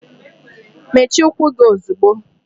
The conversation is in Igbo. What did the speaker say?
Mechie ụkwụ gị ozigbo!